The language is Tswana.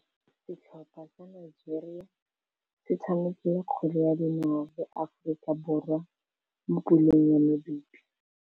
Setlhopha sa Nigeria se tshamekile kgwele ya dinaô le Aforika Borwa mo puleng ya medupe.